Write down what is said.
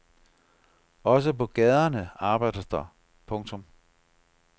Også på gaderne arbejdes der. punktum